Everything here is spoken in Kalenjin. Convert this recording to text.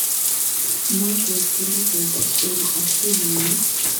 Moketilei ketik eng' Adjumani